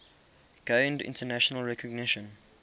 gained international recognition